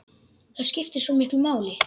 Það skiptir svo miklu máli.